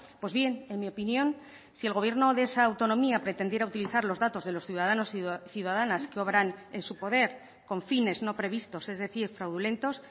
pues bien en mi opinión si el gobierno de esa autonomía pretendiera utilizar los datos de los ciudadanos y ciudadanas que obran en su poder con fines no previstos es decir fraudulentos